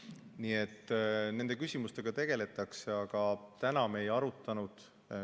Nii et nende küsimustega tegeldakse, aga me seda ei arutanud.